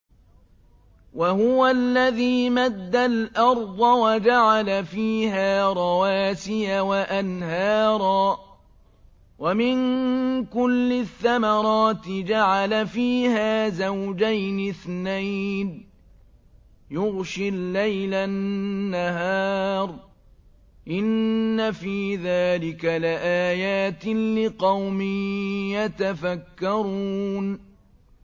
وَهُوَ الَّذِي مَدَّ الْأَرْضَ وَجَعَلَ فِيهَا رَوَاسِيَ وَأَنْهَارًا ۖ وَمِن كُلِّ الثَّمَرَاتِ جَعَلَ فِيهَا زَوْجَيْنِ اثْنَيْنِ ۖ يُغْشِي اللَّيْلَ النَّهَارَ ۚ إِنَّ فِي ذَٰلِكَ لَآيَاتٍ لِّقَوْمٍ يَتَفَكَّرُونَ